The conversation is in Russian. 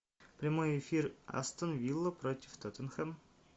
прямой эфир астон вилла против тоттенхэм